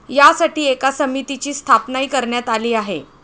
यासाठी एका समितीची स्थापनाही करण्यात आली आहे.